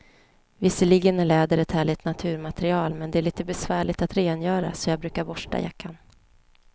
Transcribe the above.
Visserligen är läder ett härligt naturmaterial, men det är lite besvärligt att rengöra, så jag brukar borsta jackan.